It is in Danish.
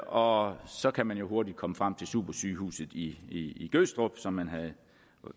og så kan man jo hurtigt komme frem til supersygehuset i gødstrup som man havde